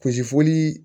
Kulusi foli